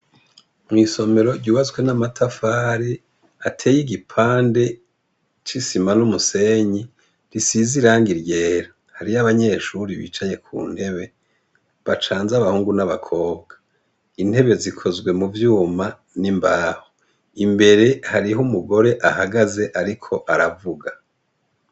Mw'isomero ryubazwe n'amatafare ateye igipande c'isima n'umusenyi risiza iranga iryera hariyo abanyeshuri bicaye ku ntebe bacanze abahungu n'abakobwa intebe zikozwe mu vyuma n'imbaho imbere hariho umugore ahagaze, ariko ko aravuga.